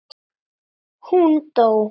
Hún dó!